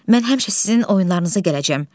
Mən həmişə sizin oyunlarınıza gələcəm.